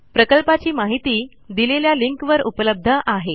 प्रकल्पाची माहिती दिलेल्या लिंकवर उपलब्ध आहे